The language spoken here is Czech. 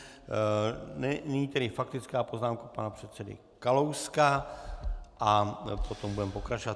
Nyní tedy faktická poznámka pana předsedy Kalouska, a potom budeme pokračovat.